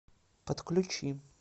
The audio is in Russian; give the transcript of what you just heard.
подключи